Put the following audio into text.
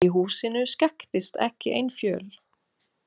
Í húsinu skekktist ekki ein fjöl.